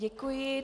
Děkuji.